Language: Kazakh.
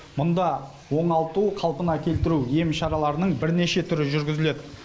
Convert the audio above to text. мұнда оңалту қалпына келтіру ем шарларының бірнеше түрі жүргізіледі